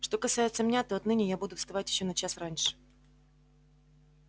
что касается меня то отныне я буду вставать ещё на час раньше